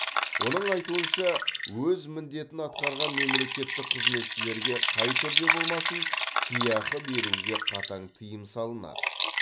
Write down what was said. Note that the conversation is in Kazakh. оның айтуынша өз міндетін атқарған мемлекеттік қызметшілерге қай түрде болмасын сыйақы беруге қатаң тыйым салынады